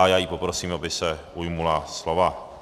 A já ji poprosím, aby se ujala slova.